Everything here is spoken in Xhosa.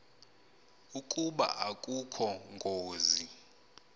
ukuba akukho ngozi